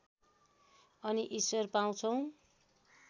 अनि ईश्वर पाउँछौ